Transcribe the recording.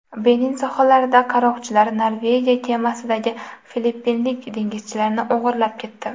Benin sohillarida qaroqchilar Norvegiya kemasidagi filippinlik dengizchilarni o‘g‘irlab ketdi.